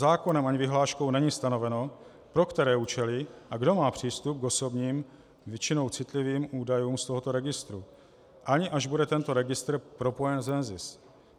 Zákonem ani vyhláškou není stanoveno, pro které účely a kdo má přístup k osobním, většinou citlivým údajům z tohoto registru, ani až bude tento registr propojen s NZIS.